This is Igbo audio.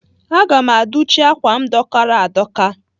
Aga m adụchị m ákwà m dọkara adọka